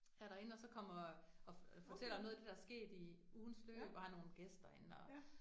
Er derinde, og så kommer og fortæller noget af det, der sket i ugens løb, og har nogle gæster inde og